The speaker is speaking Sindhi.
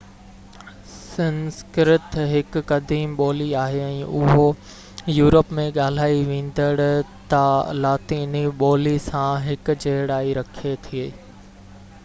سنسڪرت هڪ قديم ٻولي آهي ۽ اهو يورپ ۾ ڳالهائي ويندڙ لاطيني ٻولي سان هڪجهڙائي رکي ٿي